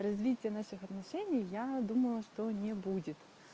развития наших отношений я думала что не будет